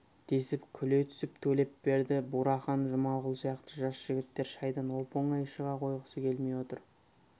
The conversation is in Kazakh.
десіп күле түсіп төлепберді бурахан жұмағұл сияқты жас жігіттер шайдан оп-оңай шыға қойғысы келмей отыр